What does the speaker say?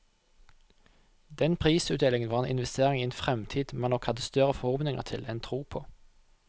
Den prisutdelingen var en investering i en fremtid man nok hadde større forhåpninger til enn tro på.